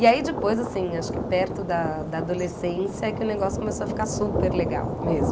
E aí depois, assim, acho que perto da da adolescência é que o negócio começou a ficar super legal mesmo.